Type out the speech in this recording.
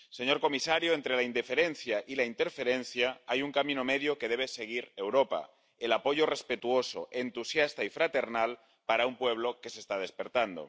Señor comisario, entre la indiferencia y la interferencia hay un camino medio que debe seguir Europa el apoyo respetuoso, entusiasta y fraternal para un pueblo que se está despertando.